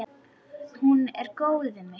Hún er góð við mig.